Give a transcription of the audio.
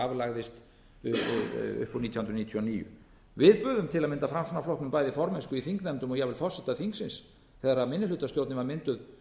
upp úr nítján hundruð níutíu og níu við buðum til að mynda framsóknarflokknum bæði formennsku í þingnefndum og jafnvel forseta þingsins þegar minnihlutastjórnin var mynduð